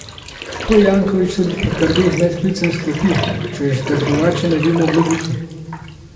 To je Janković tudi potrdil z medklicem s klopi, češ da drugače ne bi moglo biti.